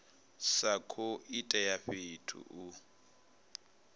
sa khou itela fhedzi u